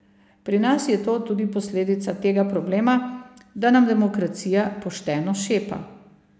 Pri nas je to tudi posledica tega problema, da nam demokracija pošteno šepa.